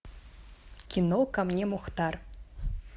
кино ко мне мухтар